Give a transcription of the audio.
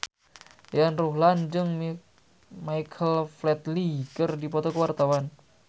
Yayan Ruhlan jeung Michael Flatley keur dipoto ku wartawan